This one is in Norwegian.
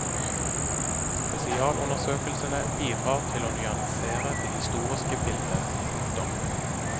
Spesialundersøkelsene bidrar til å nyansere det historiske bildet. punktum